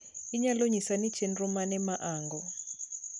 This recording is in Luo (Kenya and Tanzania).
inyalo nyisa ni chenro mane maango?